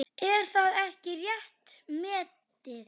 Er það ekki rétt metið?